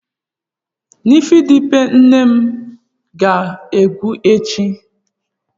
Nifedipin nne m a ga-agwụ echi?